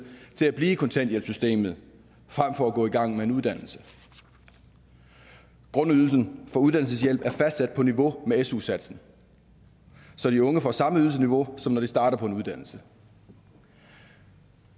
til at blive i kontanthjælpssystemet frem for at gå i gang med en uddannelse grundydelsen for uddannelseshjælp er fastsat på niveau med su satsen så de unge får samme ydelsesniveau som når de starter på en uddannelse